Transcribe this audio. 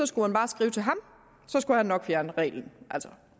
skulle man bare skrive til ham så skulle han nok fjerne reglen altså